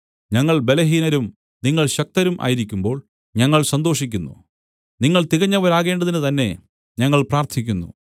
ഞങ്ങൾ ബലഹീനരും നിങ്ങൾ ശക്തരും ആയിരിക്കുമ്പോൾ ഞങ്ങൾ സന്തോഷിക്കുന്നു നിങ്ങൾ തികഞ്ഞവരാകേണ്ടതിന് തന്നെ ഞങ്ങൾ പ്രാർത്ഥിക്കുന്നു